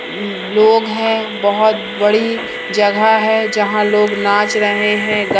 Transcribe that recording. लोग हैं बहोत बड़ी जगह है जहां लोग नाच रहे हैं गा--